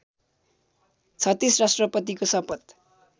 ३६ राष्ट्रपतिको सपथ